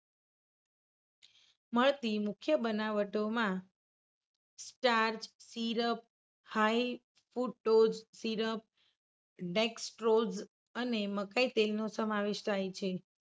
મળતી મુખ્ય બનાવટોમાં starch, syrup, high food dose syrup, dextrose અને મકાઇ તેલનો સમાવેશ છે.